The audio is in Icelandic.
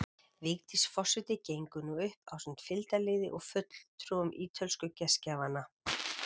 Vigdís forseti gengur nú upp ásamt fylgdarliði og fulltrúum ítölsku gestgjafanna.